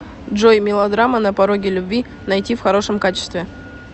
джой мелодрама на пороге любви найти в хорошем качестве